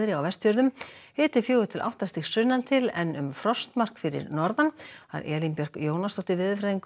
á Vestfjörðum hiti fjögurra til átta stig sunnan til en um frostmark fyrir norðan Elín Björk Jónasdóttir veðurfræðingur